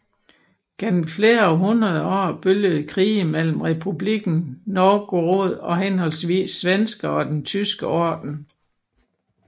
Gennem flere hundrede år bølgede krige mellem Republikken Novgorod og henholdsvis svenskere og den Tyske Orden